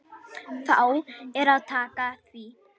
Þá er að taka því.